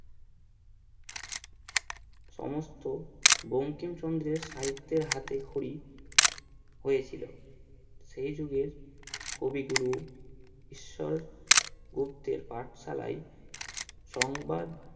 সমস্ত বঙ্কিমচন্দ্রের সাহিত্যের হাতে খড়ি হয়েছিল সেই যুগের কবিগুরু ঈশ্বর গুপ্তের পাঠশালায় সংবাদ